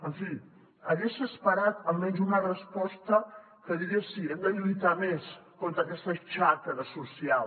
en fi hagués esperat almenys una resposta que digués sí hem de lluitar més contra aquesta xacra social